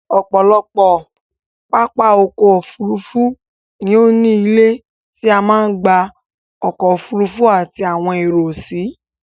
Ọ̀pọ̀lọpọ̀ pápá ọkọ̀ Òfurufú ni ó ní ilé tí a ń gba ọkọ̀ Òfurufú àti àwọn èrò si